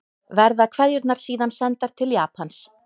Verða kveðjurnar síðan sendar til Japans